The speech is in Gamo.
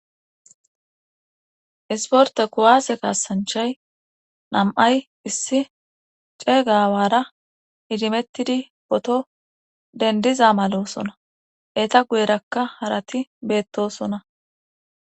Isporta kuwaase kaassanchay nam7ay issi ceeygaawara idimettidi poto dendiza malosona eeta guyerakka harati beettosona